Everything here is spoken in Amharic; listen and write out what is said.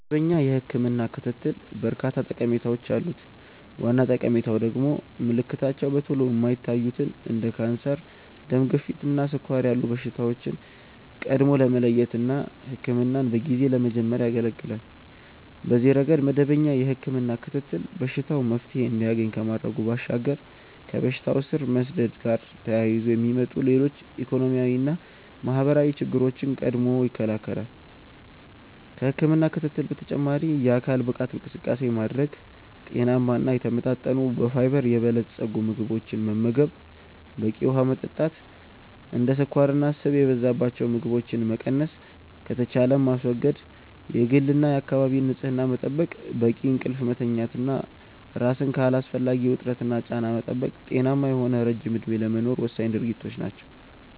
መደበኛ የህክምና ክትትል በርካታ ጠቀሜታዎች አሉት። ዋና ጠቀሜታው ደግሞ ምልክታቸው በቶሎ የማይታዩትን እንደ ካንሰር፣ ደም ግፊት እና ስኳር ያሉ በሽታዎችን ቀድሞ ለመለየት እና ህክምናን በጊዜ ለመጀመር ያገለገላል። በዚህ ረገድ መደበኛ የህክምና ክትትል በሽታው መፍትሔ እንዲያገኝ ከማድረጉ ባሻገር ከበሽታው ስር መስደድ ጋር ተያይዞ የሚመጡ ሌሎች ኢኮኖሚያዊና ማህበራዊ ችግሮችን ቀድሞ ይከለከላል። ከህክምና ክትትል በተጨማሪ የአካል ብቃት እንቅስቃሴ ማድረግ፣ ጤናማ እና የተመጣጠኑ በፋይበር የበለፀጉ ምግቦችን መመገብ፣ በቂ ውሀ መጠጣት፣ እንደ ስኳርና ስብ የበዛባቸው ምግቦችን መቀነስ ከተቻለም ማስወገድ፣ የግልና የአካባቢ ንጽህና መጠበቅ፣ በቂ እንቅልፍ መተኛት እና ራስን ከአላስፈላጊ ውጥረትና ጫና መጠበቅ ጤናማ የሆነ ረጅም እድሜ ለመኖር ወሳኝ ድርጊቶች ናቸው።